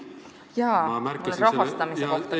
Jaa, mul on rahastamise kohta ka.